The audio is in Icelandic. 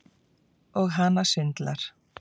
Og hana sundlar.